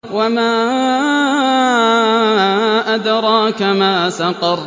وَمَا أَدْرَاكَ مَا سَقَرُ